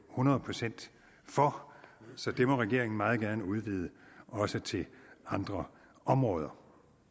hundrede procent for så det må regeringen meget gerne udvide også til andre områder